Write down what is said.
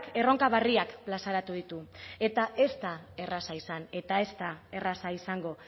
erronka berriak plazaratu ditu eta ez da erraza izan eta ez da erraza izango